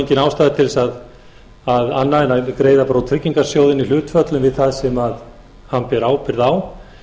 engin ástæða til annars heldur en að greiða bara í tryggingasjóðinn hlutfall við það sem hann ber ábyrgð á